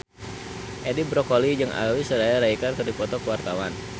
Edi Brokoli jeung Aishwarya Rai keur dipoto ku wartawan